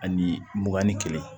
Ani mugan ni kelen